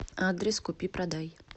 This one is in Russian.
адрес купи продай